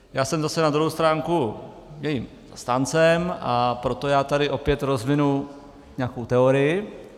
Já jsem zase na druhou stránku jejím zastáncem, a proto já tady opět rozvinu nějakou teorii.